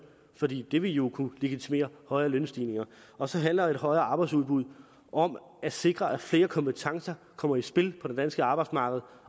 for det det vil jo kunne legitimere højere lønstigninger og så handler et højere arbejdsudbud om at sikre at flere kompetencer kommer i spil på det danske arbejdsmarked